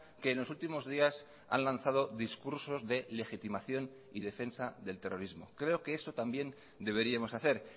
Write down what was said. que en los últimos días han lanzado discursos de legitimación y defensa del terrorismo creo que eso también deberíamos hacer